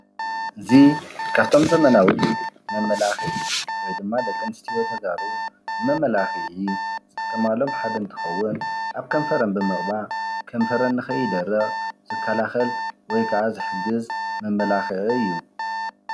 እዚ ካብቶም ዘመናዊ መመላኽዒ ወይ ድማ ደቂ ኣንስትዮ ተጋሩ ንመመላኽዒ ዝጥቀማሎም ሓደ እንትኸዉን ኣብ ከንፈር ብምቕባእ ከንፈረን ንኸይደርቅ ዝከላኸል ወይ ክዓ ዝሕግዝ መመላኽዒ እዩ።